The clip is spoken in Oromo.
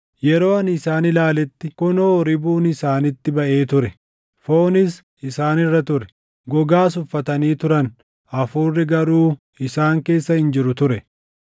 Yeroo ani isaan ilaaletti, kunoo ribuun isaanitti baʼee ture; foonis isaan irra ture; gogaas uffatanii turan; hafuurri garuu isaan keessa hin jiru ture.